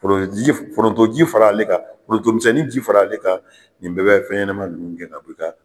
Forontoji forontoji fara ale kan forontomisɛnninji fara ale kan nin bɛɛ bɛ fɛnɲɛnɛma ninnu gɛn ka bɔ i ka